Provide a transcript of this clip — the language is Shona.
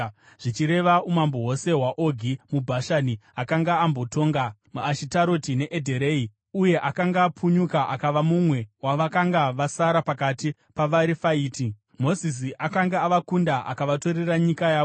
zvichireva umambo hwose hwaOgi muBhashani, akanga akambotonga muAshitaroti neEdhirei uye akanga apunyuka akava mumwe wavakanga vasara pakati pavaRefaiti. Mozisi akanga avakunda akavatorera nyika yavo.